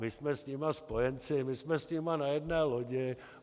My jsme s nimi spojenci, my jsme s nimi na jedné lodi.